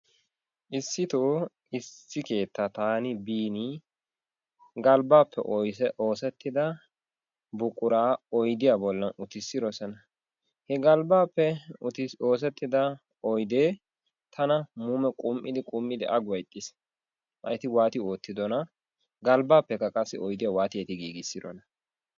Issitoo issi keettaa taani biini galbbaappe oosettida buquraa oydiya bolla utissidosona. He galbbaappe oosettida oydee tana muume qum"idi qum"idi aguwa ixxiis. Laa eti waati oottidonaa? Galbbaappekka qassi oydiya eti waati giigissidonaa?